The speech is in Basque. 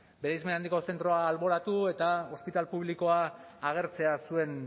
bereizmen handiko zentroa alboratu eta ospital publikoa agertzea zuen